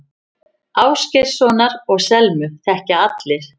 Ásgeirssonar og Selmu þekkja allir.